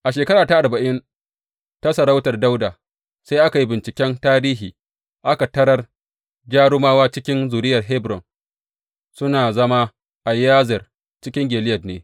A shekara ta arba’in ta sarautar Dawuda, sai aka yi binciken tarihi, aka tarar jarumawa cikin zuriyar Hebron suna zama a Yazer cikin Gileyad ne.